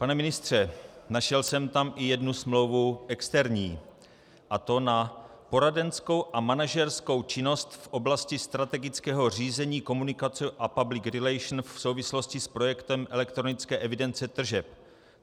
Pane ministře, našel jsem tam i jednu smlouvu externí, a to na poradenskou a manažerskou činnost v oblasti strategického řízení, komunikace a public relations v souvislosti s projektem elektronické evidence tržeb.